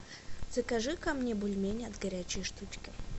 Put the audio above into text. закажи ка мне бульмени от горячей штучки